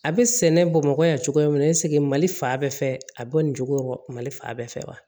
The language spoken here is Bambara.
A bɛ sɛnɛ bamakɔ yan cogoya min na mali fan bɛɛ fɛ a bɔ nin cogo mali faa bɛɛ fɛ wa